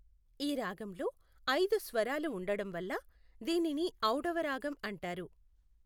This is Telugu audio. ఈ రాగంలో ఐదు స్వరాలు ఉండడం వల్ల దీనిని ఔడవ రాగం అంటారు.